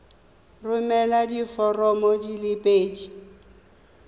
romela diforomo di le pedi